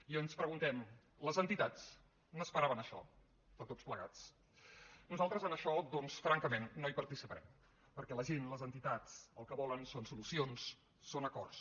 i ens preguntem les entitats n’esperaven això de tots plegats nosaltres en això doncs francament no hi participarem perquè la gent les entitats el que volen són solucions són acords